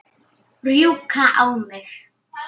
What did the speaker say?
Rjúka á mig?